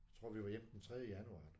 Tror vi var hjemme den tredje januar